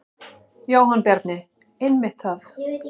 Jóhann Bjarni: Einmitt það.